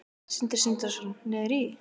Sindri Sindrason: Niður í?